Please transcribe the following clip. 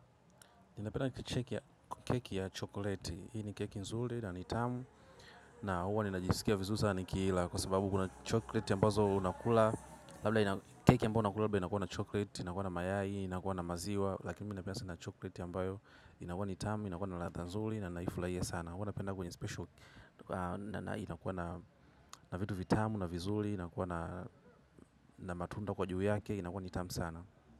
Napenda keki ya chokoleti, hii ni keki nzuri na ni tamu. Na huwa ninajisikia vizuri sana nikiila kwa sababu kuna chokoleti ambozo unakula. Labda keki ambayo unakula labda inakuwa na chokoleti, inakuwa na mayai, inakuwa na maziwa. Lakini mi napenda sana chokoleti ya mbayo inakuwa ni itamu, inakuwa na radha nzuri na naifurahia sana. Huwa napenda kwenye special, inakuwa na vitu vitamu, na vizuri, inakuwa na matunda kwa juu yake, inakuwa ni tamu sana.